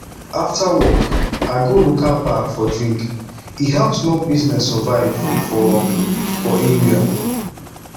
after work i go local bar for drink e help small business survive for for area